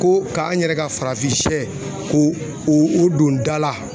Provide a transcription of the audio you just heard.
Ko k'an yɛrɛ ka farafin sɛ k'o o don da la